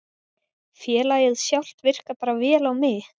Félagið sjálft virkar bara vel á mig.